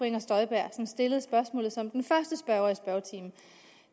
inger støjberg som stillede spørgsmålet som den første spørger